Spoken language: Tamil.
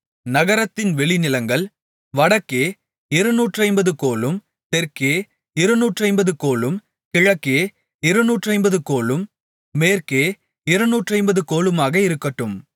நகரத்தின் வெளிநிலங்கள் வடக்கே இருநூற்றைம்பது கோலும் தெற்கே இருநூற்றைம்பது கோலும் கிழக்கே இருநூற்றைம்பது கோலும் மேற்கே இருநூற்றைம்பது கோலுமாக இருக்கட்டும்